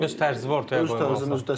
Öz tərzini ortaya qoymalısan.